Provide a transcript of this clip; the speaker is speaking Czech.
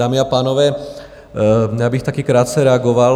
Dámy a pánové, já bych taky krátce reagoval.